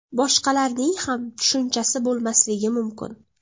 Boshqalarning ham tushunchasi bo‘lmasligi mumkin.